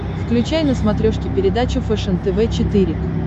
включай на смотрешке передачу фэшен тв четыре к